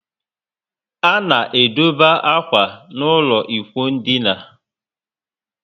A na edobe akwa n' ụlọ ikwụ ndina